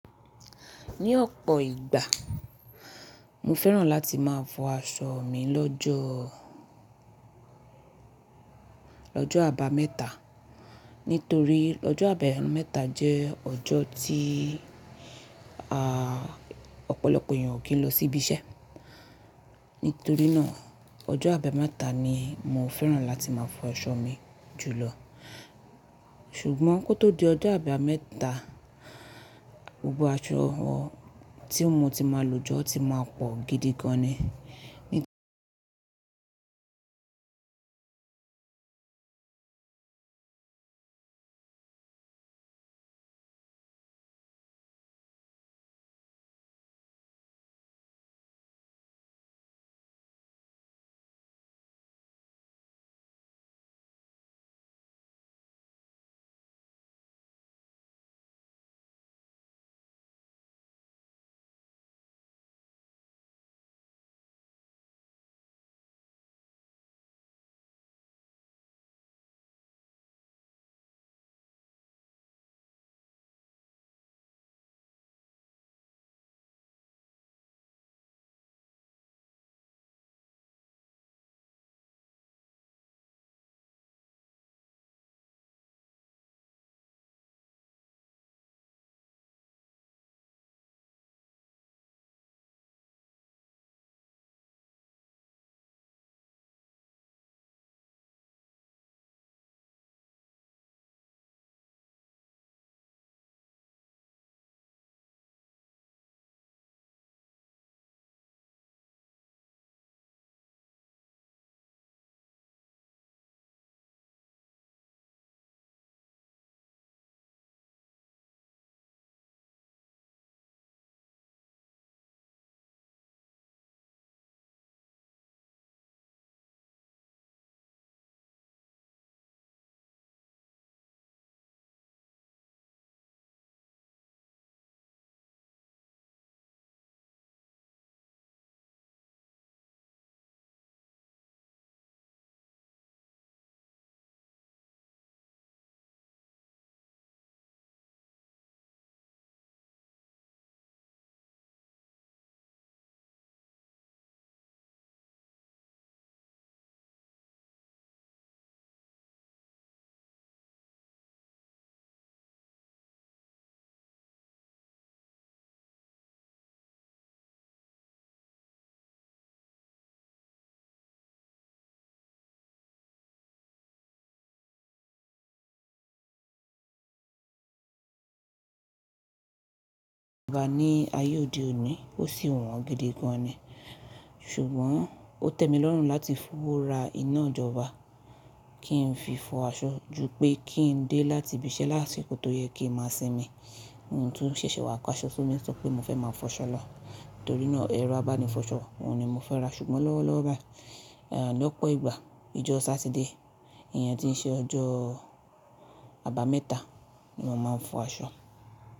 Ní ọ̀pọ̀ ìgbà, mo fẹ́ràn láti máa fọ aṣọ mi lọ́jọ́, lọ́jọ́ àbámẹ́ta. Nítorí ọjọ́ àbámẹ́ta jẹ́ ọjọ́ tí à Ọ̀pọ̀lọpọ̀ èèyàn ò kí ń lọ sí ibi iṣẹ́. Nítorí náà, ọjọ́ àbámẹ́ta ni mo fẹ́ràn láti máa fọ aṣọ mi jù lọ. Ṣùgbọ́n kó tó di ọjọ́ àbámẹ́ta, gbogbo aṣọ tí mo ti máa lò jọ́ ti máa pọ̀ gidi gan ni. Òògùn abọ́ ní ayé òde òní ó sì wọ́n gidi gan ni. Ṣùgbọ́n ó tẹ́ mi lọ́rùn láti fi owó ra iná-ìjọba kí ń fi fọ aṣọ ju pé kí ń dé láti ibi iṣẹ́ lásìkò tó yẹ kí mo máa sinmi. Ti mo tun ṣẹ̀ṣẹ̀ wà ká aṣọ fún mi sọ pé mo fẹ́ máa fọ aṣọ lọ. Nítorí náà, ẹ̀rọ abánifọṣọ ohun ni mo fẹ́ ra. Ṣùgbọ́n lọ́wọ́lọ́wọ́ báyìí, lọ́pọ̀ ìgbà, ijọ́ Sátidé, iyan tí ń ṣe ọjọ́ àbámẹ́ta ni mo máa ń fọ aṣọ.